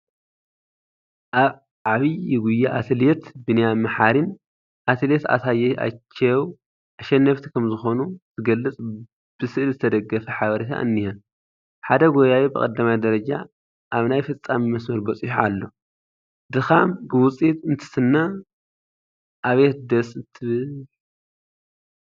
ኣብ ዓብዪ ጉያ ኣትሌት ቢንያም መሓሪን ኣትሌት ኣሳየች ኣይቼው ኣሸነፍቲ ከምዝኾኑ ዝገልፅ ብስእሊ ዝተደገፈ ሓበሬታ እኒሀ፡፡ ሓደ ጐያዪ ብቀዳማይ ደረጃ ኣብ ናይ ፍፃመ መስመር በፂሑ ኣሎ፡፡ ድኻም ብውፅኢት እንትስነ ኣቤት ደስ እንትብል፡፡